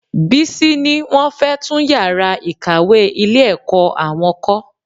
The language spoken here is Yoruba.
Bísí ní wọn fẹ tún yàrá ìkàwé ilé-ẹ̀kọ́ àwọn kọ́